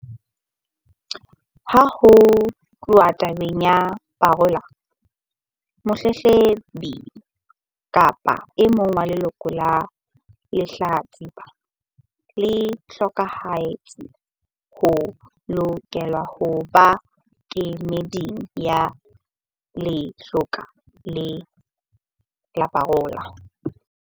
Ha ho tluwa tabeng ya parola, motletlebi kapa e mong wa leloko la lehlatsipa le hlokahetseng o lokela ho ba kemeding ya lekgotla la parola.